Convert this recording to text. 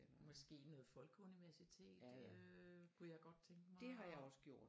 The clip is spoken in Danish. Måske noget folkeuniversitet øh kunne jeg godt tænke mig og